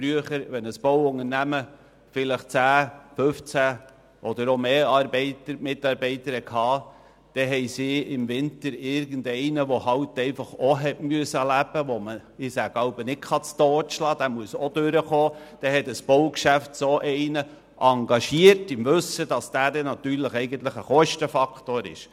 Früher, wenn ein Bauunternehmen zehn, fünfzehn oder mehr Arbeiter beschäftigte, wurde im Winter irgendeiner, der auch leben musste und den man nicht «totschlagen» konnte, im Wissen darum angestellt, dass dieser eher einen Kostenfaktor darstellt.